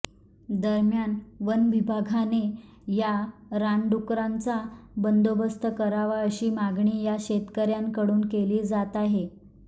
दरम्यान वनविभागाने या रानडुकरांचा बंदोबस्त करावा अशी मागणी या शेतकऱ्यांकडून केली जात आहे